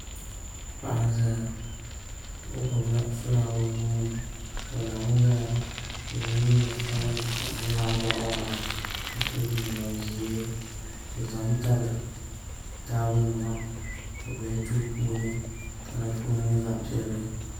Paɣa n ʒɛya o gbubila fulaawa o nuuni o lami ʒɛya o yɛla liiga sabinli ka di nyɛ boɣa waɣala ka so jinjɛm ʒiɛ o za tabi taabo nima o bɛ duu puuni ka di gooni nyɛ zaɣ piɛlli